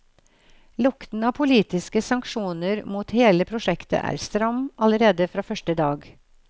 Lukten av politiske sanksjoner mot hele prosjektet er stram allerede fra første dag.